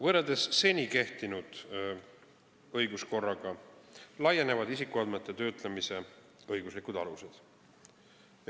Võrreldes seni kehtinud õiguskorraga laienevad nüüd isikuandmete töötlemise õiguslikud alused.